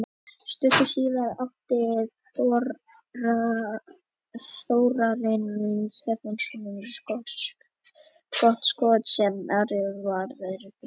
Stuttu síðar átti Þórarinn Stefánsson gott skot sem Ari varði glæsilega.